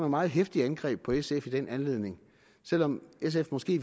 meget heftige angreb på sf i den anledning selv om sf måske